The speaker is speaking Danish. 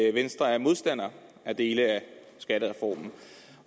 at venstre er modstander af dele af skattereformen